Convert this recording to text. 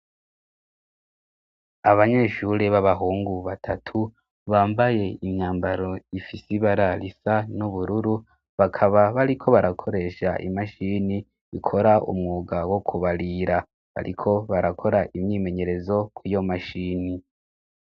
Abanyeshure b'abahungu batatu bambaye imyambaro ifise ibara risa n'ubururu bakaba bariko barakoresha imashini bikora umwuga wo kubarira ariko barakora imyimenyerezo ku iyo mashini.